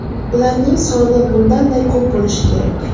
Ularning soni bundan-da ko‘p bo‘lishi kerak.